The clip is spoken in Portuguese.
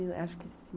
Acho que sim.